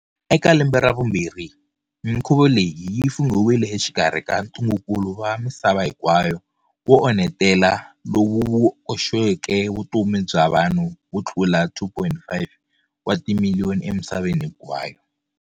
Eka lembe ra vumbirhi, mikhuvu leyi yi funghiwile exikarhi ka ntungukulu wa misava hinkwayo wo onhetela lowu wu koxeke vutomi bya vanhu vo tlula 2.5 wa timiliyoni emisaveni hinkwayo.